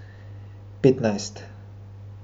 Petnajst.